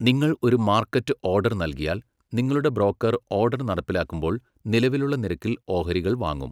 നിങ്ങൾ ഒരു market order നൽകിയാൽ, നിങ്ങളുടെ ബ്രോക്കർ ഓഡർ നടപ്പിലാക്കുമ്പോൾ നിലവിലുള്ള നിരക്കിൽ ഓഹരികൾ വാങ്ങും.